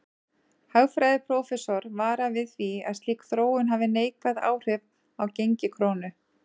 Hagfræðiprófessor varar við því að slík þróun hafi neikvæð áhrif á gengi krónu.